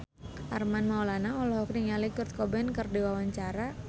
Armand Maulana olohok ningali Kurt Cobain keur diwawancara